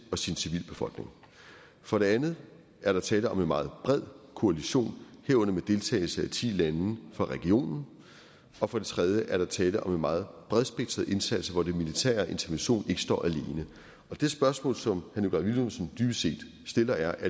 og sin civilbefolkning for det andet er der tale om en meget bred koalition herunder med deltagelse af ti lande fra regionen og for det tredje er der tale om en meget bredspektret indsats hvor den militære intervention ikke står alene det spørgsmål som herre nikolaj villumsen dybest set stiller er